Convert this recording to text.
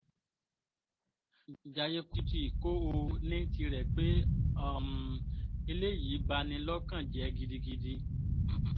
Jaye Kuti kowo nitirẹ pe um eleyii bani lokan jẹ gidigidi